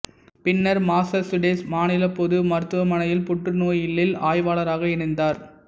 பின்னர் மாசசூசெட்ஸ் மாநில பொது மருத்துவமனையில் புற்றுநோயியலில் ஆய்வாளராக இணைந்தார்